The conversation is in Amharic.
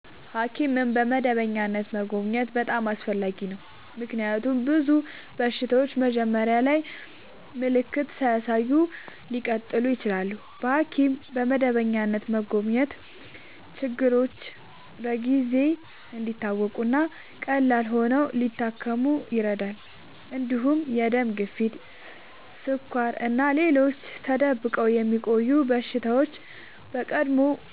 ሐኪምን በመደበኛነት መጎብኘት በጣም አስፈላጊ ነው፤ ምክንያቱም ብዙ በሽታዎች መጀመሪያ ላይ ምልክት ሳያሳዩ ሊቀጥሉ ይችላሉ። በሐኪም በመደበኛነት መጎብኘት ችግሮች በጊዜ እንዲታወቁ እና ቀላል ሆነው ሊታከሙ ይረዳል። እንዲሁም የደም ግፊት፣ ስኳር እና ሌሎች ተደብቆ የሚቆዩ በሽታዎች በቀድሞ